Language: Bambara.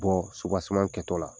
Bɔ kɛtɔ la